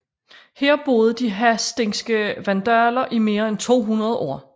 Her boede de hasdingske vandaler i mere end 200 år